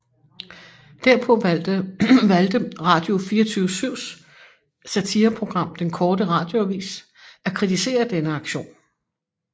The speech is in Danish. Derpå valgte Radio24syvs satireprogram Den Korte Radioavis at kritisere denne aktion